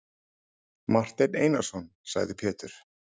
Marteinn Einarsson, sagði Pétur.